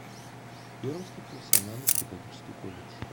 пермский профессионально педагогический колледж